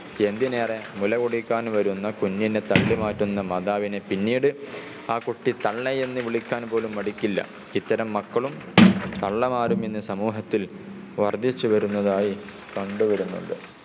എന്തിനേറെ മുലകുടിക്കാൻ വരുന്ന കുഞ്ഞിനെ തള്ളിമാറ്റുന്ന മാതാവിനെ പിന്നീട് ആ കുട്ടി തള്ളയെന്നു വിളിക്കാനും പോലും മടിക്കില്ല. ഇത്തരം മക്കളും തള്ളമാരും ഇന്ന് സമൂഹത്തിൽ വർദ്ധിച്ചു വരുന്നതായി കണ്ടു വരുന്നുണ്ട്.